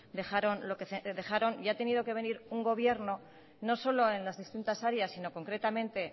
dejaron y ha tenido que venir un gobierno no solo en las distintas áreas sino concretamente